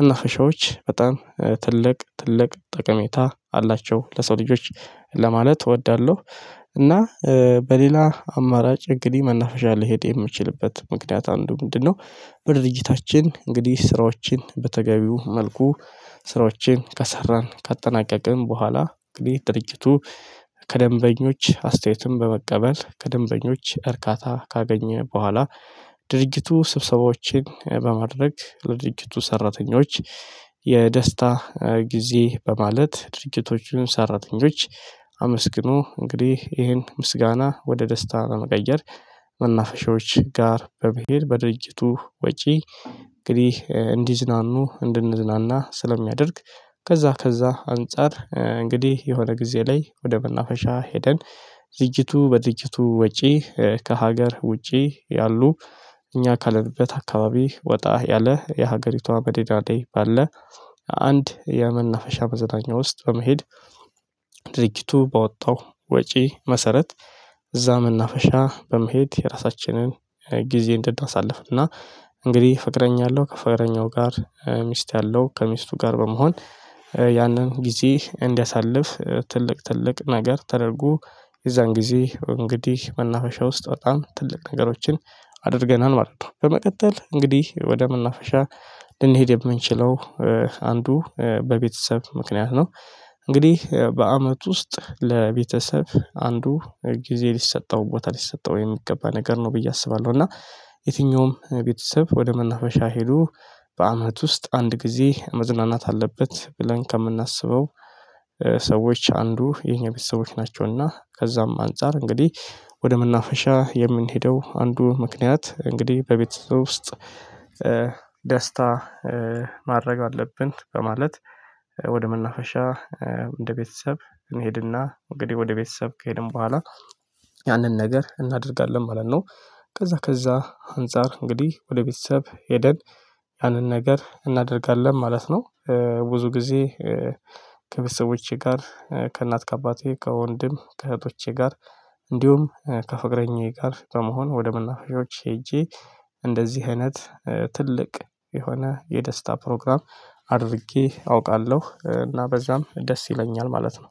መናፈሻዎች በጣም ትልቅ ትልቅ ጠቀሜታ አላቸው ለሰው ልጆች ለማለት እወዳለሁ። እና በሌላ አማራጭ እንግዲህ መናፈሻ ሊሄድ የሚችልበት ምክንያት አንዱ ምንድነው? በድርጅታችን እንግዲህ ስራዎችን በተገቢው መልኩ ስራዎችን ከሰራን ካጠናቀቅን በኋላ እንግዲህ ድርጅቱ ከደንበኞች አስተያየትም በመቀበል ከደንበኞች እርካታ ካገኘ በኋላ ድርጅቱ ስብሰባዎችን በማድረግ ለድርጂቱ ሰራተኞች የደስታ ጊዜ በማለት ድርጅቶችን ሰራተኞች አመስግኖ እንግዲህ ይሄን ምስጋና ወደ ደስታ ለመቀየር መናፈሻዎች ጋር በመሄድ በድርጅቱ ወጪ እንግዲህ እንዲዝናኑ እንድንዝናና ስለሚያደርግ። ከዛ ከዛ አንፃር እንግዲህ የሆነ ጊዜ ላይ ወደ መናፈሻ ሄደን ዝግጅቱ በድርጅቱ ወጪ ከሀገር ውጪ ያሉ እኛ ካለንበት አካባቢ ወጣ ያለ የሀገሪቷ መዲና ላይ። አንድ የመናፈሻ መዝናኛ ውስጥ በመሄድ ድርጅቱ ባወጣው ወጪ መሰረት። እዛ መናፈሻ በመሄድ የራሳችንን ጊዜ እንድናሳልፍና እንግዲህ ፍቅረኛ አለው ከፍቅረኛው ጋር ሚስት አለው ከሚስቱ ጋር በመሆን ያንን ጊዜ እንዲያሳልፍ ትልቅ ትልቅ ነገር ተደርጎ የዛን ጊዜ እንግዲህ መናፈሻ ውስጥ በጣም ትልቅ ነገሮችን አድርገናል ማለት ነው። በመቀጠል እንግዲህ ወደ መናፈሻ ልንሄድ የምንችለው አንዱ በቤተሰብ ምክንያት ነው። እንግዲህ በአመት ውስጥ ለቤተሰብ አንዱ ጊዜ ሊሰጠው ቦታ ሊሰጠው የሚገባ ነገር ነው ብዬ አስባለሁ እና። የትኛውም ቤተሰብ ወደ መናፈሻ ሄዶ በአመት ውስጥ አንድ ጊዜ መዝናናት አለበት ብለን ከምናስበው። ሰዎች አንዱ የኛ ቤተሰቦች ናቸውና ከዛም አንፃር እንግዲህ ወደ መናፈሻ የምንሄደው አንዱ ምክንያት እንግዲህ በቤት ውስጥ ደስታ ማድረግ አለብን በማለት ወደ መናፈሻ እንደ ቤተሰብ መሄድና እንግዲህ ወደ ቤተሰብ ከሄድን በኋላ ያንን ነገር እናደርጋለን ማለት ነው ከዛ ከዛ አንፃር እንግዲህ ወደ ቤተሰብ ሄደን ያንን ነገር እናደርጋለን ማለት ነው። ብዙ ጊዜ ከቤተሰቦቼ ጋር ከእናት ከአባቴ ከወንድም ከእህቶቼ ጋር እንዲሁም ከፍቅረኛዬ ጋር በመሆን ወደ መናፈሻዎች ሄጄ እንደዚህ አይነት ትልቅ የሆነ የደስታ ፕሮግራም አድርጌ አውቃለሁ እና በዛም ደስ ይለኛል ማለት ነው።